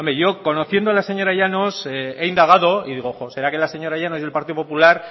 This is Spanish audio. yo conociendo a la señora llanos he indagado y digo será que la señora llanos y el partido popular